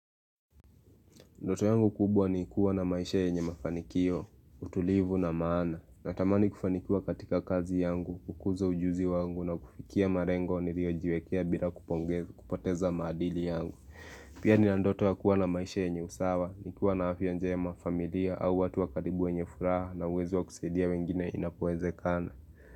Ndoto yangu kubwa ni kuwa na maisha yenye mafanikio, utulivu na maana, na tamani kufanikiwa katika kazi yangu, kukuza ujuzi wangu na kufikia malengo niliyojiekea bila kupoteza maadili yangu. Pia nina ndoto ya kuwa na maisha yenye usawa, ni kuwa na afya njema familia au watu wa karibu wenye furaha na uwezo wa kusaidia wengine inapowezekana.